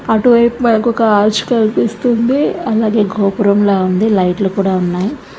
అటు వాయువు మనకి ఒక ఆర్చ్ కనిపిస్తుంది అలాగే గోపురంలా ఉంది. లైట్ లు కుడి ఉన్నాయి.